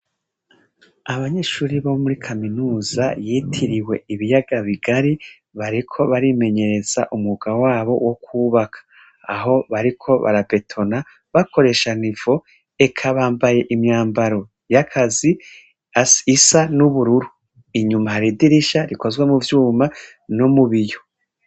Abanyishuri bo muri kaminuza yitiriwe ibiyaga bigari bariko barimenyereza umwuga wabo wo kwubaka aho bariko barabetona bakoresha nivo eka bambaye imyambaro yakazi asi isa n'ubururu inyuma haridirisha rikozwe mu vyuma no mubiyo.